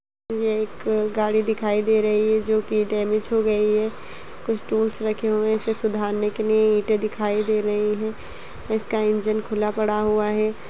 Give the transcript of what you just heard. ये एक गाड़ी दिखाई दे रही है जो कि डैमिज हो गई है कुछ टूल्स रखे हुए हैं इसे सुधारने के लिए ईटे दिखाई दे रही है इसका इंजन खुला पड़ा हुआ है।